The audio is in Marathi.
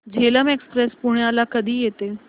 झेलम एक्सप्रेस पुण्याला कधी येते